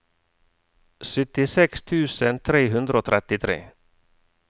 syttiseks tusen tre hundre og trettitre